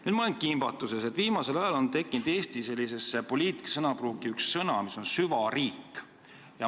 Nüüd ma olen kimbatuses, sest viimasel ajal on Eestis poliitsõnapruuki ilmunud uus sõna "süvariik".